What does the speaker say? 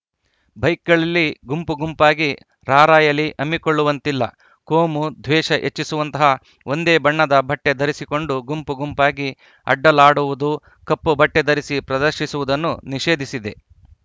ಬೈಕ್‌ಗಳಲ್ಲಿ ಗುಂಪುಗುಂಪಾಗಿ ರಾರ‍ಯಲಿ ಹಮ್ಮಿಕೊಳ್ಳುವಂತಿಲ್ಲ ಕೋಮು ದ್ವೇಷ ಹೆಚ್ಚಿಸುವಂತಹ ಒಂದೇ ಬಣ್ಣದ ಬಟ್ಟೆಧರಿಸಿಕೊಂಡು ಗುಂಪು ಗುಂಪಾಗಿ ಅಡ್ಡಾಲಡುವುದು ಕಪ್ಪು ಬಟ್ಟೆಧರಿಸಿ ಪ್ರದರ್ಶಿಸುವುದನ್ನು ನಿಷೇಧಿಸಿದೆ